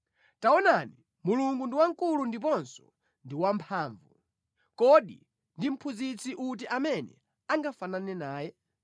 “Taonani, Mulungu ndi wamkulu ndiponso ndi wamphamvu. Kodi ndi mphunzitsi uti amene angafanane naye?